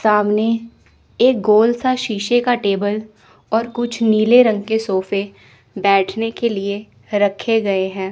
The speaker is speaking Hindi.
सामने एक गोल सा शीशे का टेबल और कुछ नीले रंग के सोफे बैठने के लिए रखे गए हैं।